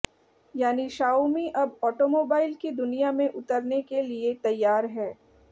यानि शाओमी अब ऑटोमोबाइल की दुनिया में उतरने के लिए तैयार है